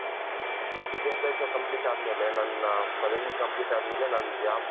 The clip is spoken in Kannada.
ವಿದ್ಯಾಭ್ಯಾಸ complete ಆದ್ಮೇಲೆ ನನ್ನ ಪದವಿ complete ಅದ್ಮೇಲೆ ನಾನ್ job